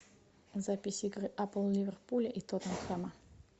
запись игры апл ливерпуля и тоттенхэма